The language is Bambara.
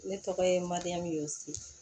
Ne tɔgɔ ye madu si